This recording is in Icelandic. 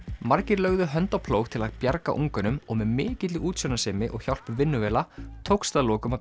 margir lögðu hönd á plóg til að bjarga unganum og með mikilli útsjónarsemi og hjálp vinnuvéla tókst að lokum að